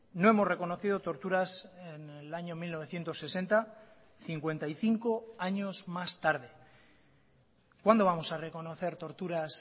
no hemos reconocido torturas en el año mil novecientos sesenta cincuenta y cinco años más tarde cuándo vamos a reconocer torturas